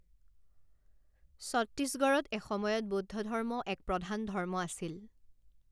ছত্তীছগঢ়ত এসময়ত বৌদ্ধ ধৰ্ম এক প্ৰধান ধৰ্ম আছিল।